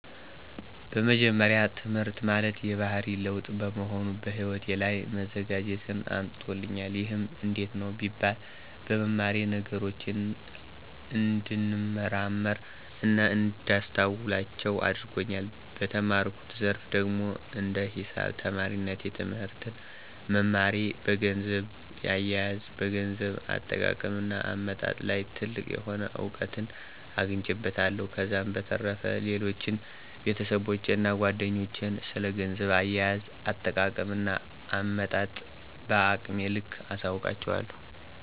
በመጀመሪያ ትህምርት ማለት የባህሪ ለዉጥ በመሆኑ በህይወቴ ላይ መዘጋጀትን አምጥቶልኛል። ይህም እንዴት ነው ቢባል በመማሬ ነገሮችን እንድንመረምር እና እንዳስተውላቸው አድርጎኛል። በተማርኩት ዘርፍ ደግሞ እንደ ሂሳብ ተማሪነቴ ትህምርትን መማሬ በገንዘብ አየየዝ፣ በገንዘብ አጠቃቀም እና አመጣጥ ላይ ትልቅ የሆነ እዉቀትን አግኝቼበታለሁ። ከዛም በተረፈ ሌሎችን ቤተሰቦቼን እና ጓደኞቼን ስለ ገንዘብ አያያዝ፣ አጠቃቀም እና አመጣጥ በአቅሜ ልክ አሳዉቃቸዋለሁ።